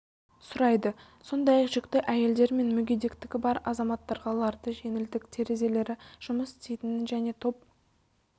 сұрайды сондай-ақ жүкті әйелдер мен мүгедектігі бар азаматтарға ларды жеңілдік терезелері жұмыс істейтінін және топ